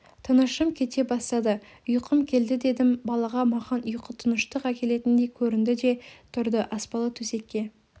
тынышым кете бастады ұйқым келді дедім балаға маған ұйқы тыныштық әкелетіндей көрінді де тұрды аспалы төсекке